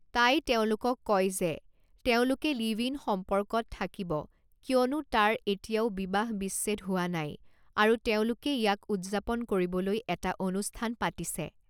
তাই তেওঁলোকক কয় যে তেওঁলোকে লিভ ইন সম্পৰ্কত থাকিব কিয়নো তাৰ এতিয়াও বিবাহ-বিচ্ছেদ হোৱা নাই আৰু তেওঁলোকে ইয়াক উদযাপন কৰিবলৈ এটা অনুষ্ঠান পাতিছে।